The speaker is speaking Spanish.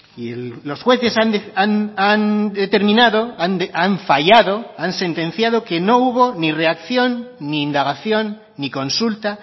y los jueces han determinado han fallado han sentenciado que no hubo ni reacción ni indagación ni consulta